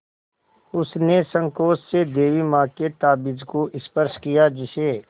उसने सँकोच से देवी माँ के ताबीज़ को स्पर्श किया जिसे